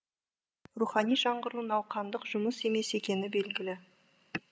рухани жаңғыру науқандық жұмыс емес екені белгілі